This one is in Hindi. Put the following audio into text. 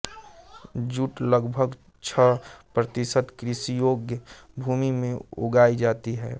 जूट लगभग छह प्रतिशत कृषियोग्य भूमि में उगाई जाती है